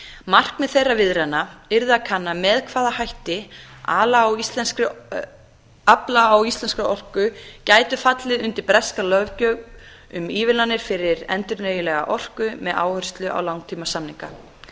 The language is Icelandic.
markmið þeirra viðræðna yrði að kanna með hvaða hætti afla á íslenskri orku gæti fallið undir breska löggjöf um ívilnanir fyrir endurnýjanlega orku með áherslu á langtímasamninga